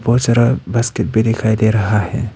बहुत सारा बास्केट भी दिखाई दे रहा है।